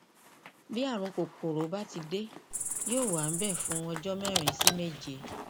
bí ààrùn kòkòrò bá ti dé yóò wà níbẹ fún ọjọ mẹrin sí méje